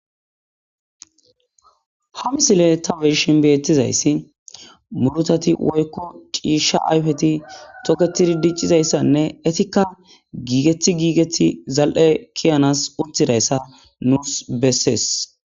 Ha misile ta bee'shshin betizaysi murutati woyko cishsha ayfetitokketidi diccidaysanne etika gegti gigeti za'ee ke'abseil uththidaysa musical beeses